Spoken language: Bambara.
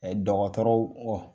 Ɛɛ dɔgɔtɔrɔw kɔ